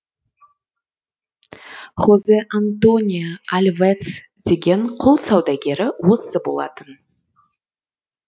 хозе антонио альвец деген құл саудагері осы болатын